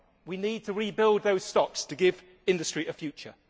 We need to rebuild those stocks to give industry a future.